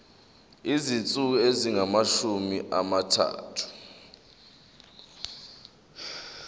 izinsuku ezingamashumi amathathu